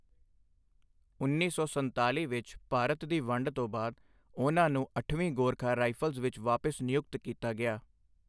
ਉੱਨੀ ਸੌ ਸੰਤਾਲੀ ਵਿੱਚ ਭਾਰਤ ਦੀ ਵੰਡ ਤੋਂ ਬਾਅਦ, ਉਨ੍ਹਾਂ ਨੂੰ 8ਵੀਂ ਗੋਰਖਾ ਰਾਈਫਲਸ ਵਿੱਚ ਵਾਪਿਸ ਨਿਯੁਕਤ ਕੀਤਾ ਗਿਆ।